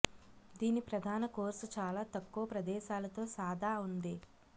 దీని ప్రధాన కోర్సు చాలా తక్కువ ప్రదేశాలతో సాదా ఉంది